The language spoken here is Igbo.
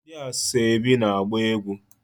Ndi asoebi na-agba egwu